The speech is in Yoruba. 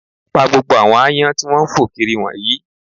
Pa gbogbo àwọn aáyán tí wọ́n ń fò kiri wọ̀nyìí